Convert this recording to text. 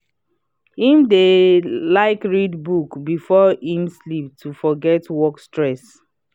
him dey like read book before him sleep to forget work stress.